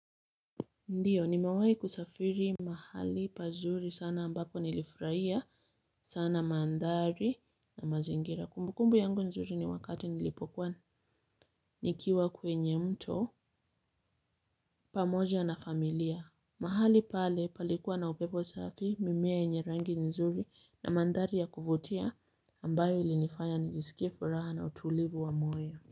Ndiyo, nimewahi kusafiri mahali pazuri sana ambako nilifurahia sana mandhari na mazingira. Kumbukumbu yangu nzuri ni wakati nilipokwa. Nikiwa kwenye mto pamoja na familia. Mahali pale palikuwa na upepo safi, mimea yenye rangi nzuri ambayo ilinifanya nijisikie furaha na utulivu wa moyo.